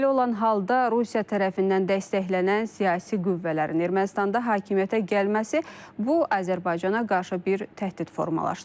Belə olan halda Rusiya tərəfindən dəstəklənən siyasi qüvvələrin Ermənistanda hakimiyyətə gəlməsi bu Azərbaycana qarşı bir təhdid formalaşdırır.